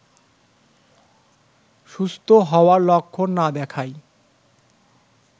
সুস্থ হওয়ার লক্ষণ না দেখায়